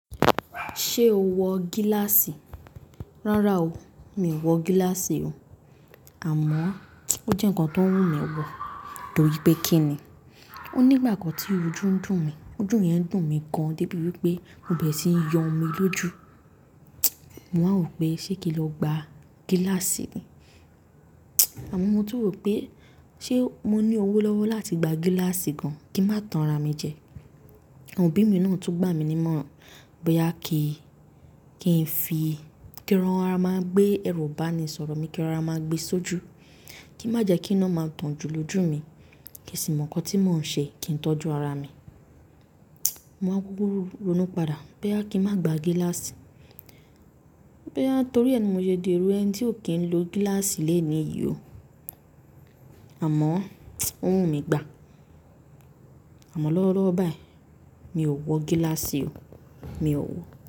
Ṣé o wọ gíláàsì? Rárá o, mi ò wọ gíláàsì o. Àmọ́, ó jẹ́ nǹkan tó ń wù mí wọ, torí pé kí ni? Ó ní ìgbà kan tí ojú ń dùn mí, ojú yẹn ń dùn mí gan-an débi wípé mo bẹ̀rẹ̀ sí ń yọ omi lójú. Mo á wò pé ṣé kí n lọ gba gíláàsì ni? Àmọ́ mo tún rò pé ṣé mo ní owó lọ́wọ́ láti gba gíláàsì gan-an kí má tan ra mi jẹ? Àwọn òbí mi náà tún gbà mí ní mọ̀, boya kí, kí n fi, kí ẹran ra máa gbé ẹrú bá mi sọ̀rọ̀ mi, kí ẹran ra máa gbé sójú. Kí má jẹ kí iná máa dùn julojú mi, kí sì mọ̀ ǹkan tí mò ń ṣe, kí n tọ́jú ara mi. Mo á gbúrú ronú padà pé a kí n má gba gíláàsì, boya torí ẹ ni mo ṣe di ẹrú ẹni tí ò kí ń lo gíláàsì lẹ́ẹ̀ni yìí o. Àmọ́, ó wù mí gbà. Àmọ́ lọ́wọ́lọ́wọ́ báyìí, mi ò wọ gíláàsì o, mi ò wọ.